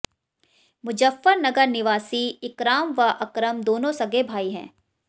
मुजफ्फनगर निवासी इकराम व अकरम दोनों सगे भाई हैं